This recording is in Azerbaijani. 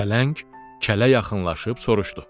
Pələng kələ yaxınlaşıb soruşdu: